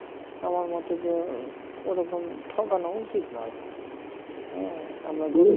আমার মতে যে ওরকম ঠকানো উচিত নয় হ্যাঁ আমরা